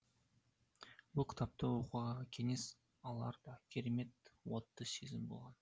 бұл кітапты оқуға кеңес алар да керемет отты сезім болған